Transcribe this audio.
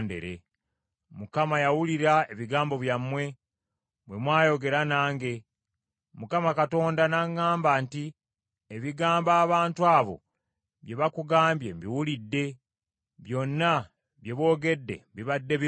Mukama yawulira ebigambo byammwe, bwe mwayogera nange, Mukama Katonda n’aŋŋamba nti, “Ebigambo abantu abo bye bakugambye mbiwulidde. Byonna bye boogedde bibadde birungi.